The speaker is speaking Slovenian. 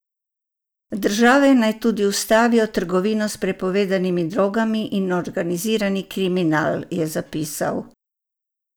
Države naj tudi ustavijo trgovino s prepovedanimi drogami in organizirani kriminal, je zapisal.